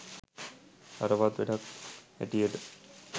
හරවත් වැඩක් හැටියට